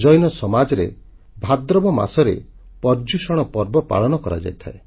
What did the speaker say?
ଜୈନ ସମାଜରେ ଭାଦ୍ରବ ମାସରେ ପର୍ଯୂଷଣ ପର୍ବ ପାଳନ କରାଯାଇଥାଏ